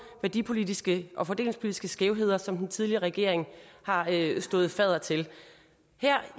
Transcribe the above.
værdipolitiske og fordelingspolitiske skævheder som den tidligere regering har stået fadder til her